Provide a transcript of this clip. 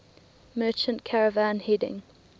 merchant caravan heading